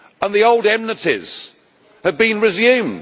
The old enmities have been resumed.